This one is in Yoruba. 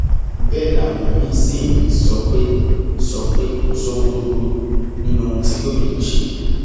bẹẹ làwọn míín sì ń sọ pé sọ pé kò sóhun tó burú nínú ohun tí gómìnà ṣe